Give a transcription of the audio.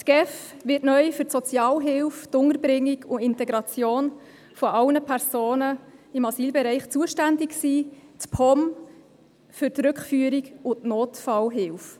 Die GEF wird neu für die Sozialhilfe, die Unterbringung und die Integration aller Personen im Asylbereich zuständig sein, die POM für die Rückführung und die Nothilfe.